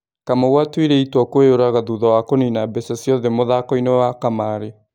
Kamau atuire itua kwĩyũraga thutha wa kũnina mbeca ciothe mũthakoinĩ wa kamarĩ.